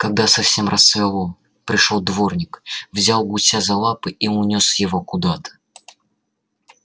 когда совсем рассвело пришёл дворник взял гуся за лапы и унёс его куда-то